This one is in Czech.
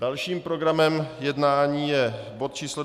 Dalším programem jednání je bod číslo